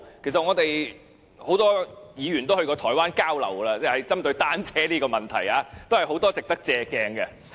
其實，我們很多議員都曾到台灣交流，針對單車這個問題，有很多值得借鑒的地方。